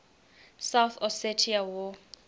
south ossetia war